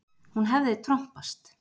Hún hefði trompast.